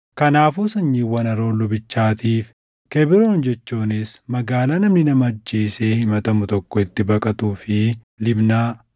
Kanaafuu sanyiiwwan Aroon lubichaatiif Kebroon jechuunis magaalaa namni nama ajjeesee himatamu tokko itti baqatuu fi Libnaa,